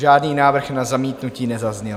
Žádný návrh na zamítnutí nezazněl.